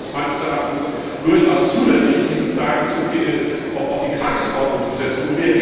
Von daher ist es meines Erachtens durchaus zulässig, diese Fragen auf die Tagesordnung zu setzen.